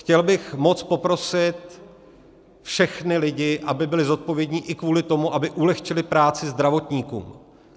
Chtěl bych moc poprosit všechny lidi, aby byli zodpovědní i kvůli tomu, aby ulehčili práci zdravotníkům.